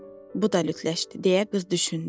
Bu da lütləşdi, deyə qız düşündü.